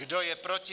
Kdo je proti?